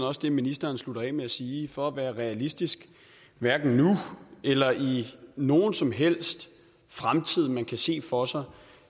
også det ministeren sluttede af med at sige for at være realistisk hverken nu eller i nogen som helst fremtid man kan se for sig